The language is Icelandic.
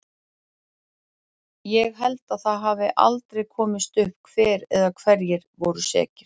Ég held að það hafi aldrei komist upp hver eða hverjir voru sekir.